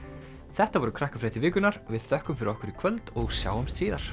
þetta voru Krakkafréttir vikunnar við þökk fyrir okkur í kvöld og sjáumst síðar